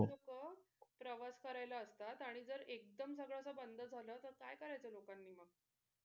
लोक प्रवास करायला असतात आणि एकदम सगळं असं बंद झालं तर काय करायचं लोकांनी मग?